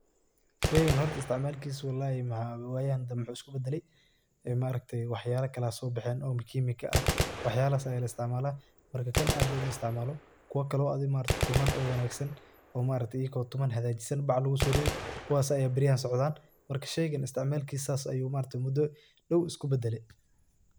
Sheeygan hoorta isticmalkisa, wallahi wayahan dambi waxu isku badalay ee maaragtay waxayala Kali Aya so baxeen oo chemical ka ah waxyalahaysah Aya la isticmaloh, marka kan aad mala is ticmalo, kuwa Kali adi maaragtay oo tuman oo Wangsan maaragtay ayako tuman hakajisan baacblagu so reethay kuwasi Aya beeriyahan socdan marka sheeygan isticmalkisa beeriyahan saas Aya maaragtay mudo daaw isku badalay.